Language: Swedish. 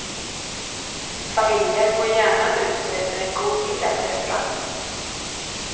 Familjer går gärna ut och äter en god middag på restaurang.